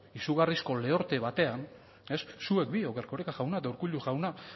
izugarrizko lehorte batean zuek biok erkoreka jauna eta urkullu jauna